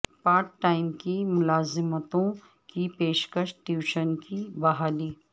part time کی ملازمتوں کی پیشکش ٹیوشن کی بحالی